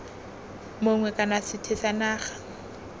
mongwe kana sethwe sa naga